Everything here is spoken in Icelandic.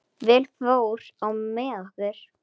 Vel fór á með okkur.